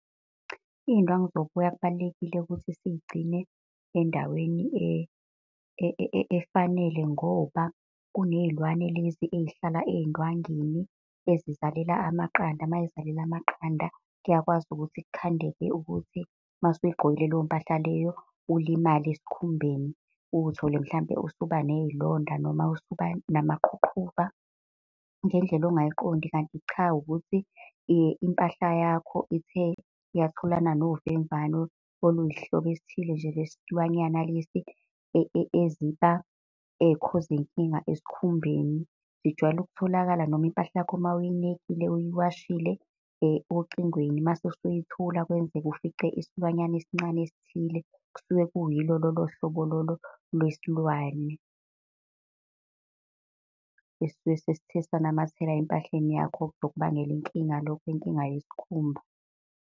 Iy'ndwangu zoboya kubalulekile ukuthi sigcine endaweni efanele, ngoba kuney'lwane lezi ey'hlala ey'ndwangwini ezizalela amaqanda, mayizalela amaqanda kuyakwazi ukuthi kukhandeke ukuthi masuyigqokile leyo mpahla eyo, ulimale esikhumbeni uy'thole mhlampe usuba ney'londa noma usuba namaqhuqhuva ngendlela ongayiqondi. Kanti cha, ukuthi impahla yakho ithe yatholana novemvane oluyishlobo esithile nje lesilwanyana lesi eziba ey'khoza inkinga esikhumbeni. Zijwayele ukutholakala noma impahla yakho mawuyinekile uyiwashile ocingweni, mase usuyithula kwenzeka uficeisilwanyana esincane esithile kusuke kuyilo lolo hlobo lolo lwesilwane. Esisuke sesithe sanamathela empahleni yakho okubangela inkinga lokho, inkinga yesikhumba.